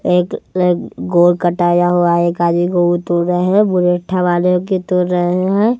एक ये गोल कटाया हुआ है काली को तो रहे है वाले की तो रहे हैं।